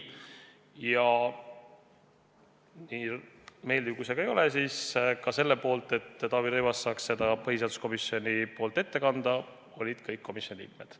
Ja nii meeldiv kui see ka ei ole, selle poolt, et Taavi Rõivas saaks põhiseaduskomisjoni nimel selle ettekande teha, olid samuti kõik komisjoni liikmed.